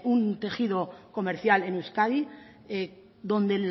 un tejido comercial en euskadi donde el